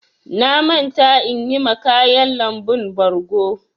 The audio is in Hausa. Na manta inyi ma ƙayan lambun ɓargo.